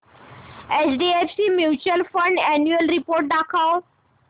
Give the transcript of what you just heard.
HDFC mutual fund annual report दाखव